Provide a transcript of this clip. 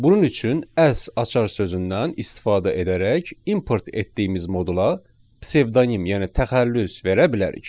Bunun üçün "as" açar sözündən istifadə edərək import etdiyimiz modula psevdonim, yəni təxəllüs verə bilərik.